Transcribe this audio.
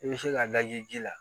I bɛ se ka laji ji la